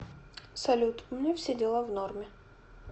салют у меня все дела в норме